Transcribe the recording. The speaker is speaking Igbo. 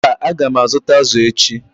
mba, a ga m azụta azụ̀ echi.